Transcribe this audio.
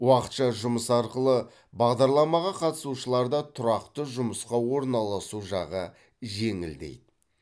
уақытша жұмыс арқылы бағдарламаға қатысушыларда тұрақты жұмысқа орналасу жағы жеңілдейді